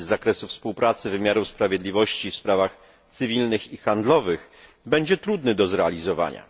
z zakresu współpracy wymiarów sprawiedliwości w sprawach cywilnych i handlowych, będzie trudny do zrealizowania.